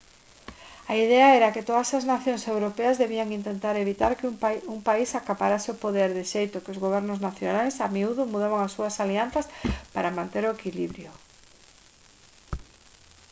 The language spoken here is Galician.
a idea era que todas as nacións europeas debían intentar evitar que un país acaparase o poder de xeito que os gobernos nacionais a miúdo mudaban as súas alianzas para manter o equilibrio